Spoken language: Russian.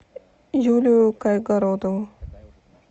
юлию кайгородову